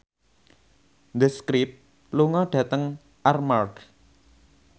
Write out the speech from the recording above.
The Script lunga dhateng Armargh